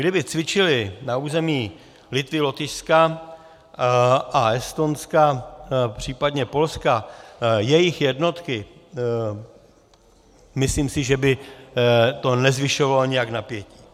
Kdyby cvičily na území Litvy, Lotyšska a Estonska, případně Polska jejich jednotky, myslím si, že by to nezvyšovalo nějak napětí.